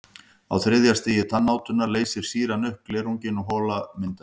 Á þriðja stigi tannátunnar leysir sýran upp glerunginn og hola myndast.